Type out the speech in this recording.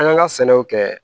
An kan ka sɛnɛw kɛ